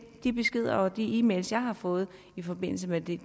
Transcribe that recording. de beskeder og de e mails jeg har fået i forbindelse med det